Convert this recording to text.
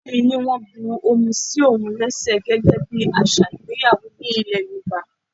Ìyá mi ní wọ́n bu omi sí òun léṣe gẹ́gẹ́ bí àṣà ìgbéyàwó nílè Yorùbá.